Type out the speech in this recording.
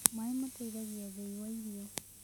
Mae mateĩthagĩa ũthĩĩ wa irio